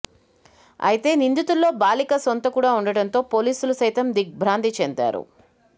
అయితే నిందితుల్లో బాలిక సొంత కూడా ఉండటంతో పోలీసులు సైతం దిగ్బ్రాంతి చెందారు